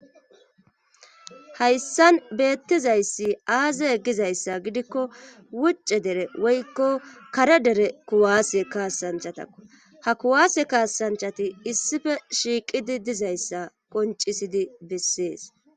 hayssan beettizayssi aaze gizayssa gidikko wucce dere woykko kare dere kuwaase kaasanchatakko ha kuwaase kaasanchati issife shiiqidi dizayssa qoncisidi bessees